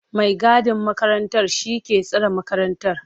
mai gadin makarantar shi ke tsare makarantar.